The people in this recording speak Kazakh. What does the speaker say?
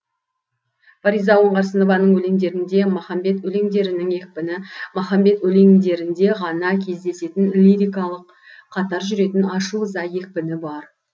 фариза оңғарсынованың өлеңдерінде махамбет өлеңдерінің екпіні махамбет өлеңдерінде ғана кездесетін лирикалық қатар жүретін ашу ыза екпіні бар